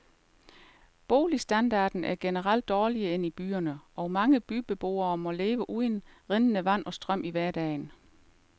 Boligstandarden er generelt dårligere end i byerne, og mange bygdebeboere må leve uden rindende vand og strøm i hverdagen.